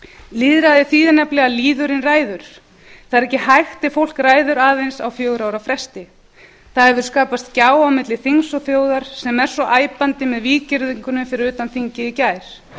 lýðræði þýðir nefnilega að lýðurinn ræður það er ekki hægt ef fólk ræður aðeins á fjögurra ára fresti það hefur skapast gjá á milli þings og þjóðar sem er svo æpandi með víggirðingunni fyrir utan þingið í gær